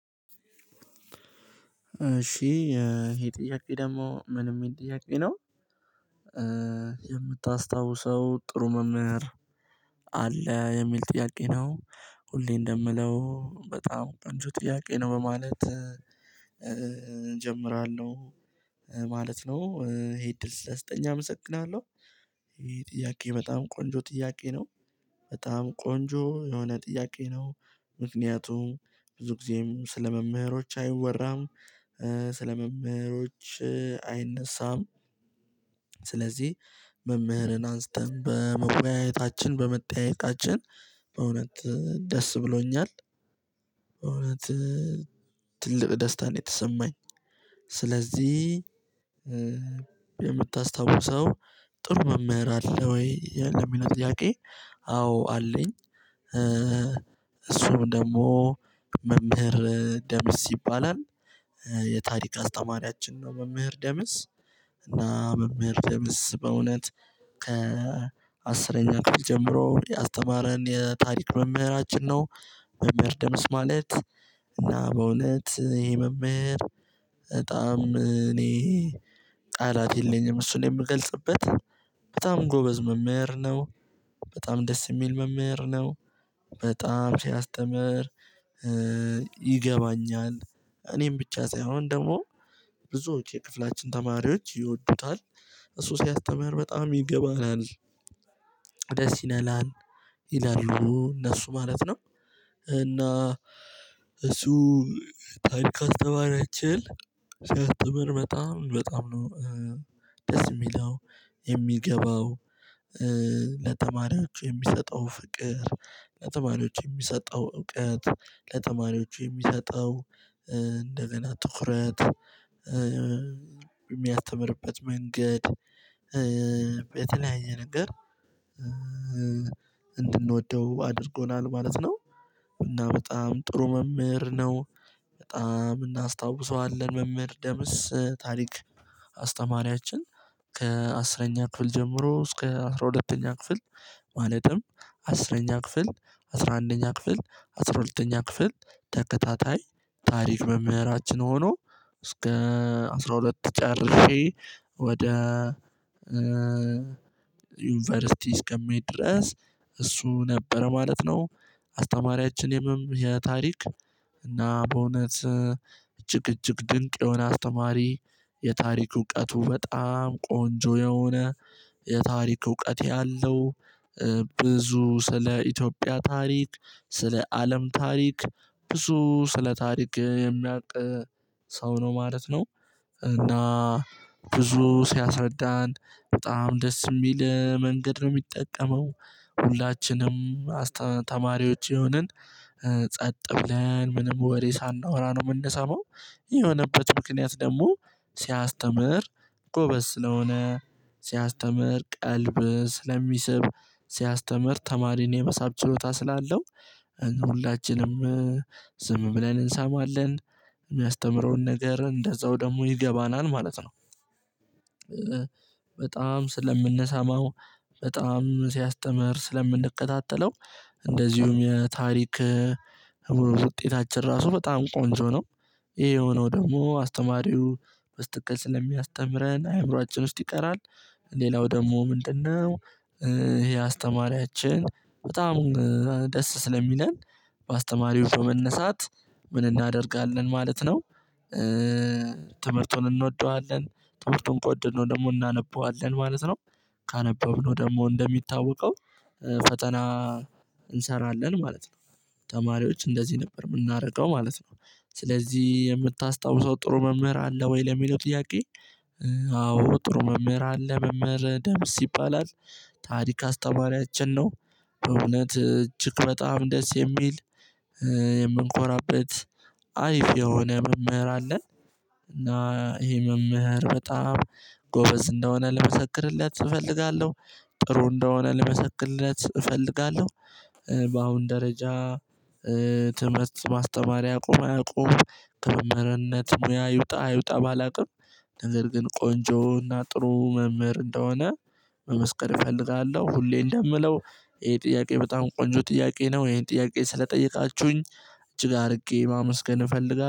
እሺ ይሄ ጥያቄ ደግሞ ምንም የሚል ጥያቄ ነው። የምታስታውሰው ጥሩ መምህር አለ የሚል ጥያቄ ነው። ሁሌ እንደምለው በጣም ቀንጆ ጥያቄ ነው በማለት እንጀምራለው። ነው ይሄ እድል ስለተሰጠኝ አመሰግናለሁ። ጥያቄ በጣም ቆንጆ ጥያቄ ነው። በጣም ቆንጆ የሆነ ጥያቄ ነው። ምክንያቱም ብዙ ጊዜም ስለመምህሮች አይወራም ስለ መምህሮች አይነሳም። ስለዚህ መምህርን አንስተን በመወያየታችን በመጠያየቃችን በእውነት ደስ ብሎኛል። እውነት ትልቅ ደስታ ነው የተሰማኝ። ስለዚህ የምታስታውሰው ጥሩ መምህር አለ ወይ የ ለሚለው ጥያቄ? አዎ አለኝ። እሱም ደግሞ መምህር ደምስ ይባላል። የታሪክ አስተማሪያችን ነው መምህር ደምስ እና መምህር ደምስ በእውነት ከአስረኛ ክፍል ጀምሮ ያስተማረን የታሪክ መምህራችን ነው። መምህር ደምስ ማለት እና በእውነት ይሄ መምህር በጣም እኔ ቃላት የለኝም እሱን የምገልጽበት በጣም ጎበዝ መመር ነው። በጣም ደስ የሚል መምህር ነው። በጣም ሲያስተምር ይገባኛል እኔም ብቻ ሳይሆን ደግሞ ብዙዎች የክፍላችን ተማሪዎች ይወዱታል። እሱ ሲያስተምር በጣም ይገባናል። ደስ ይለላል ይላሉ እነሱ ማለት ነው። እና እሱ ታንክ ከተባለችል ሲያስተምር በጣም በጣም ነው። ደስ የሚለው የሚገባው ለተማሪዎች የሚሰጠው ፍቅር ለተማሪዎች የሚሰጠው እውቀት ለተማሪዎች የሚሰጠው ትኩረት የሚያስተምርበት መንገድ ነገር እንድንወደው አድርጎናል ማለት ነው። እና በጣም ጥሩ መምህር ነው። በጣም እናስታውሰዋለን መምህር ደምስ ታሪክ አስተማሪያችን ከአስረኛ ክፍል ጀምሮ እስከ አስራ ሁለተኛ ክፍል። ማለትም አስረኛ ክፍል አስራ አንደኛ ክፍል አስራ ሁለተኛ ክፍል ተከታታይ ታሪክ መምህራችን ሆኖ እስከ አስራ ሁለት ጨርሼ ወደ ዩኒቨርሲቲ እስከሚሄድ ድረስ እሱ ነበረ ማለት ነው። አስተማሪያችን የመም የታሪክ እና በእውነት እጅግ እጅግ ድንቅ የሆነ አስተማሪ የታሪክ እውቀቱ በጣም ቆንጆ የሆነ የታሪክ እውቀት ያለው ብዙ ስለ ኢትዮጵያ ታሪክ ስለ አለም ታሪክ ብዙ ስለ ታሪክ የሚያውቅ ሰው ነው ማለት ነው። እና ብዙ ሲያስረዳን በጣም ደስ የሚል መንገድ ነው የሚጠቀመው ሁላችንም አስተ ተማሪዎች የሆንን ብለን ምንም ወሬ ሳናወራ ነው የምንሰማው። የሆነበት ምክንያት ደግሞ ሲያስተምር ጎበዝ ስለሆነ ሲያስተምር ቀልብ ስለሚስብ ሲያስተምር ተማሪን የመሳብ ችሎታ ስላለው ሁላችንም ዝም ብለን እንሰማለን። ነገር እንደዛው ደግሞ ይገባናል ማለት ነው። በጣም ስለምንሰማው በጣም ሲያስተምር ስለምንከታተለው እንደዚሁም የታሪክ ውጤታችን ራሱ በጣም ቆንጆ ነው። ይሄ የሆነው ደግሞ አስተማሪው በስተክል ስለሚያስተምረን አእምሮ አጭር ውስጥ ይቀራል። ሌላው ደግሞ ምንድነው? ይሄ አስተማሪያችን በጣም ደስ ስለሚለን በአስተማሪው በመነሳት ምን እናደርጋለን ማለት ነው? ትምህርቱን እንወደዋለን ትምህርቱን ቆንጆ ነው ደግሞ እናነበዋለን ማለት ነው። ካነበብነው ደግሞ እንደሚታወቀው ፈተና እንሰራለን ማለት ነው። ተማሪዎች እንደዚህ ነበር የምናርቀው ማለት ነው። ስለዚህ የምታስታውሰው ጥሩ መምህር አለ ወይ ለሚለው ጥያቄ? አዎ ጥሩ መምህር አለ መምህር ደም ሲባል አለ ታሪክ አስተማሪያችን ነው እውነት እጅግ በጣም ደስ የሚል የምንኮራበት አይፍ የሆነ መምህር አለን። እና ይሄ መምህር በጣም ጎበዝ እንደሆነ ልመሰክርለት እፈልጋለሁ። ጥሩ እንደሆነ ልመሰክልለት እፈልጋለሁ። በአሁን ደረጃ በአስተማሪ አቁም አቁም ከመምህርነት ሙያ ይውጣ አይውጣ ባላቅም ነገር ግን ቆንጆውና ጥሩ መምህር እንደሆነ መመስከር እፈልጋለሁ ሁሌ። እንደምለው ይሄ ጥያቄ በጣም ቆንጆ ጥያቄ ነው ይሄን ጥያቄ ስለጠየቃችሁኝ እጅ ጋር አድርጌ ማመስገን እፈልጋለሁ